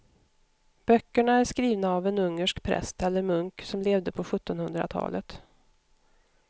Böckerna är skrivna av en ungersk präst eller munk som levde på sjuttonhundratalet.